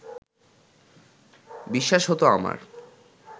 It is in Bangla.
বিশ্বাস হত আমার